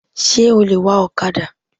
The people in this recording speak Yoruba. Sé o lè wa òkadà